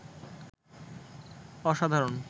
অসাধারণ